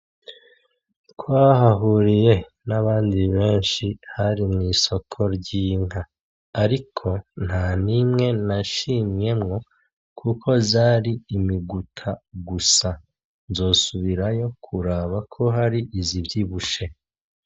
Twahahuriye n'abandi benshi, hari mw'isoko ry'inka ariko ntanimwe nashimyemwo kuko zari imiguta gusa, nzosubirayo ko hari izivyibushe .